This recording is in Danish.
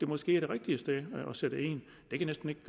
måske det rigtige sted at sætte ind det kan næsten ikke